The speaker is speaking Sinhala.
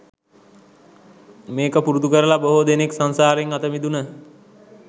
මේක පුරුදු කරල බොහෝ දෙනෙක් සංසාරෙන් අතමිදුන.